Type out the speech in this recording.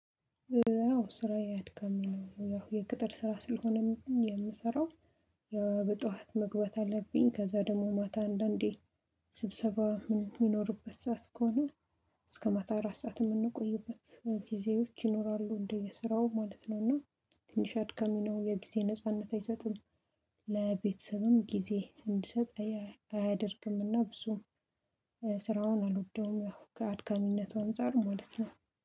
አዎ ስራ ያድጋል ያው የቅጥር ስራ ስለሆነም የምሰራው ያው በጧዋት መግባት አለብኝ። ከዛ ደግሞ ማታ አንዳንዴ ስብሰባ ምን የሚኖርበት ሰዓት ከሆነ እስከ ማታ አራት ሰዓት የምንቆይበት ጊዜዎች ይኖራሉ እንደ የስራው ማለት ነው። እና ትንሽ አድካሚ ነው የጊዜ ነጻነት አይሰጥም። ለቤተሰብም ጊዜ እንዲሰጥ አያደርግምና ብዙ ስራውን አልወደውም ከአድካሚነቱ አንፃር ማለት ነው